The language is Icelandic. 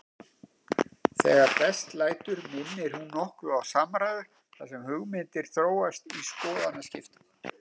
Þegar best lætur minnir hún nokkuð á samræðu þar sem hugmyndir þróast í skoðanaskiptum.